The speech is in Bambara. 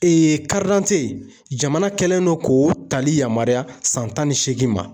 Ee jamana kɛlen don k'o tali yamaruya san tan ni seegin ma.